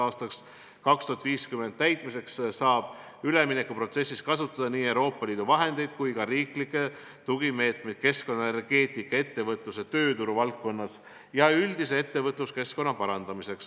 Aastat 2050 silmas pidades saab üleminekuprotsessis kasutada nii Euroopa Liidu vahendeid kui ka riiklikke tugimeetmeid keskkonna, energeetika, ettevõtluse, tööturu valdkonnas ja üldise ettevõtlusekeskkonna parandamiseks.